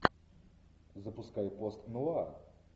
запускай постнуар